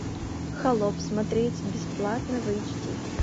холоп смотреть бесплатно в эйч ди